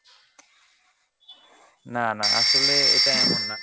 না না আসলে এটা এমন না।